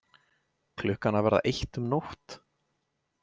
Klukkan að verða eitt um nótt!